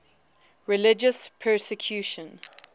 religious persecution